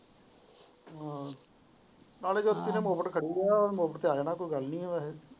ਨਾਲੇ ਜੋਤਿ ਦੇ ਮੁੜ ਤੇ ਖੜੀ ਰਹਿਆ ਮੁੜ ਤੇ ਆ ਜਾਣਾ ਹੈ ਕੋਈ ਗੱਲ ਨਹੀਂ ਵੈਸੇ।